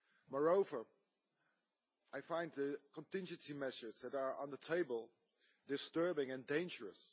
Moreover, I find the contingency measures on the table disturbing and dangerous.